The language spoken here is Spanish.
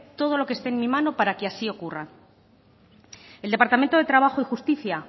todo lo que esté en mi mano para que así ocurra el departamento de trabajo y justicia